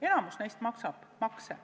Enamik neist maksab makse.